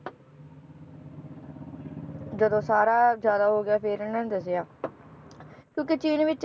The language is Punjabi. ਜਦੋ ਸਾਰਾ ਜ਼ਿਆਦਾ ਹੋ ਗਿਆ ਫੇਰ ਇਹਨਾਂ ਨੇ ਦੱਸਿਆ ਕਿਉਕਿ ਚੀਨ ਵਿਚ